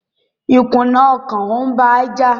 ìkùnà ọkàn ń ba á jà.